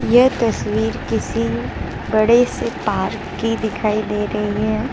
ये तस्वीर किसी बड़े से पार्क की दिखाई दे रही है।